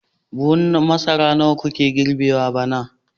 Buhun masara nawa kuka girbe a bana